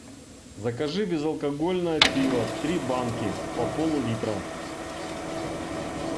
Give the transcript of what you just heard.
закажи безалкогольное пиво три банки по пол литра